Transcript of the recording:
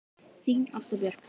Þín Ásta Björk.